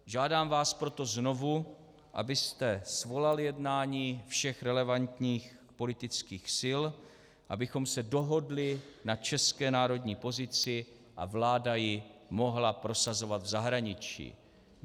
Žádám vás proto znovu, abyste svolal jednání všech relevantních politických sil, abychom se dohodli na české národní pozici a vláda ji mohla prosazovat v zahraničí.